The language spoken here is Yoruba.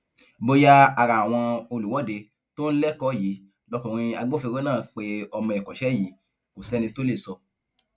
bóyá ara àwọn olùwọde tó ń lẹkọ yìí lọkùnrin agbófinró náà pé ọmọ ẹkọṣẹ yìí kò sẹni tó lè sọ